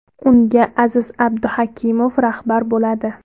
Unga Aziz Abduhakimov rahbar bo‘ladi.